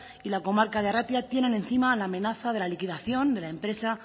y la comarca de arratia tienen encima la amenaza de la liquidación de la empresa